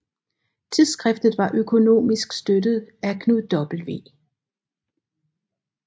Tidsskriftet var økonomisk støttet af Knud W